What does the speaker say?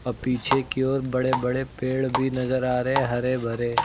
अ पीछे की ओर बड़े बड़े पेड़ भी नजर आ रहे हरे भरे।